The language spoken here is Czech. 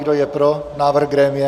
Kdo je pro návrh grémia?